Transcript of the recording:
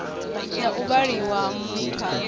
na u vhaliwa ha mithara